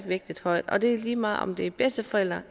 vægtet højt og det er lige meget om det er bedsteforældre